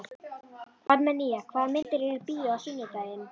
Armenía, hvaða myndir eru í bíó á sunnudaginn?